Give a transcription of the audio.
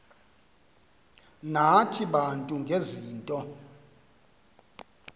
nathi bantu ngezinto